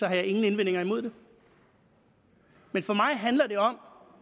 jeg ingen indvendinger imod det for mig handler det om